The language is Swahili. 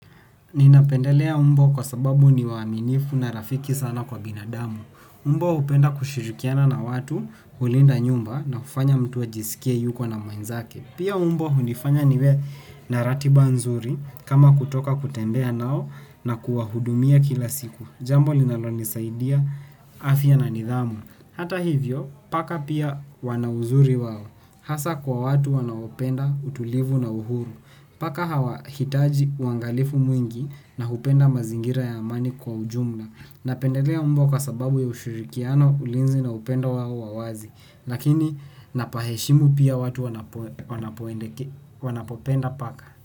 Ninapendelea mbwa kwa sababu ni waaminifu na rafiki sana kwa binadamu. Mbwa hupenda kushirikiana na watu hulinda nyumba na kufanya mtu ajisikie yuko na mwenzake. Pia mbwa hunifanya niwe na ratiba nzuri kama kutoka kutembea nao na kuwahudumia kila siku. Jambo linalonisaidia afya na nidhamu. Hata hivyo, paka pia wana uzuri wao. Hasa kwa watu wanaopenda utulivu na uhuru. Paka hawahitaji uangalifu mwingi na hupenda mazingira ya amani kwa ujumla. Napendelea mbwa kwa sababu ya ushirikiano ulinzi na upendo wao wa wazi. Lakini napaheshimu pia watu wanapopenda paka.